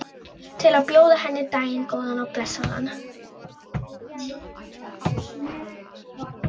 Til að bjóða henni daginn, góðan og blessaðan.